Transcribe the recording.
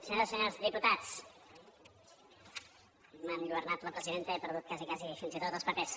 senyores i senyors diputats m’ha enlluernat la presidenta i he perdut quasi quasi fins i tot els papers